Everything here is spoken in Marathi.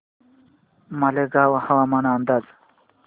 मालेगाव हवामान अंदाज